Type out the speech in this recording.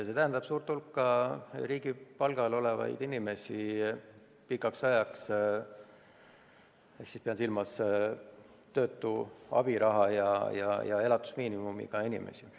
See tähendab pikaks ajaks suurt hulka riigi palgal olevaid inimesi, pean silmas töötu abiraha ja elatusmiinimumiga inimesi.